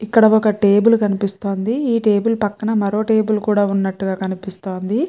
ఇక్కడ ఒక టేబెల్ కనిపిస్తోంది. ఈ టేబెల్ పక్కన మరో టేబెల్ కూడా ఉన్నట్టుగా కనిపిస్తోంది.